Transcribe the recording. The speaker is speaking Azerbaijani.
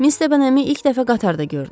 Miss Dehmi ilk dəfə qatarda gördüm.